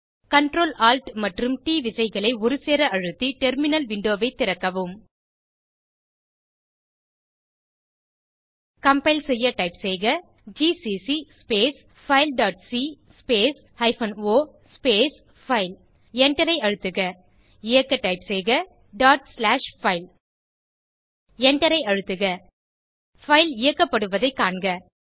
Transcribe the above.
Ctrl Alt மற்றும் T விசைகளை ஒருசேர அழுத்தி டெர்மினல் விண்டோவை திறக்கவும் கம்பைல் செய்ய டைப் செய்க GCC space file dot C space hyphen o space file எண்டரை அழுத்துக இயக்க டைப் செய்க டாட் ஸ்லாஷ்ஃபைல் பைல் எண்டரை அழுத்துக பைல் இயக்கப்படுவதைக் காண்க